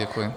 Děkuji.